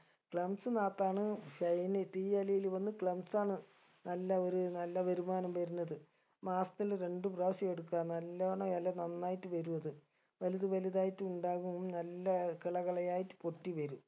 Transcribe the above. clumps നാത്താണ് tea ഇലയില് വന്ന് clumps ആണ് നല്ല ഒരു നല്ല വരുമാനം വരുന്നത് മാസത്തിൽ രണ്ട് പ്രാവശ്യം എടുക്ക നല്ലോണം ഇല നന്നായിട്ട് വരു അത് വലുത് വലുതായിട്ട് ഇണ്ടാകും നല്ല കള കളയായിട്ട് പൊട്ടി വരും